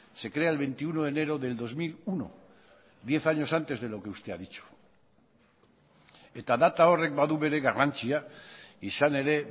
se crea el veintiuno de enero del dos mil uno diez años antes de lo que usted ha dicho eta data horrek badu bere garrantzia izan ere